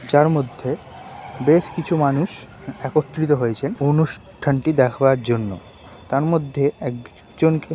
যার মধ্যেবেশ কিছু মানুষ একত্রিত হয়েছেন অনুষ্ঠা-নটি দেখার জন্য তার মধ্যে একজওনকে।